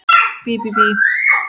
Bí bí bí!